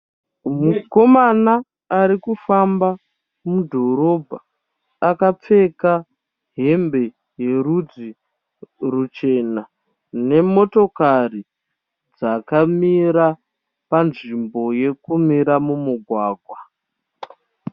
Mukomana arikufamba mudhorobha akapfeka hembe yerudzi ruchena nemotokari dzkamira panzvimbo yekumira mumugwagwa.